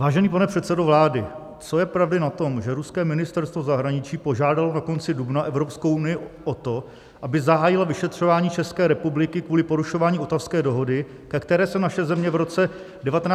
Vážený pane předsedo vlády, co je pravdy na tom, že ruské ministerstvo zahraničí požádalo na konci dubna Evropskou unii o to, aby zahájila vyšetřování České republiky kvůli porušování Ottawské dohody, ke které se naše země v roce 1997 připojila?